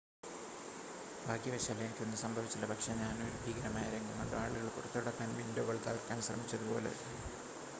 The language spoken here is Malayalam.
"""ഭാഗ്യവശാൽ എനിക്ക് ഒന്നും സംഭവിച്ചില്ല പക്ഷേ ഞാൻ ഒരു ഭീകരമായ രംഗം കണ്ടു ആളുകൾ പുറത്തുകടക്കാൻ വിൻഡോകൾ തകർക്കാൻ ശ്രമിച്ചതുപോലെ.